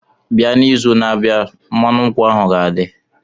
bia n'izu na-abịa, mmanụ nkwụ ahụ ga-adị.